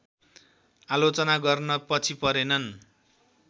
आलोचना गर्न पछि परेनन्